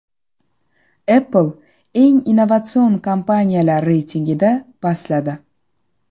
Apple eng innovatsion kompaniyalar reytingida pastladi.